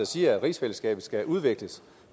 siger at rigsfællesskabet skal udvikles